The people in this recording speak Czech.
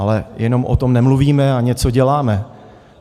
Ale jenom o tom nemluvíme, ale něco děláme.